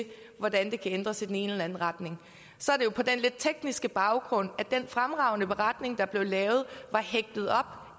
hvordan det kan ændres i den ene eller den anden retning på den lidt tekniske baggrund at den fremragende beretning der blev lavet var hægtet op